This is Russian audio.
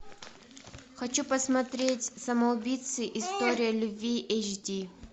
хочу посмотреть самоубийцы история любви эйч ди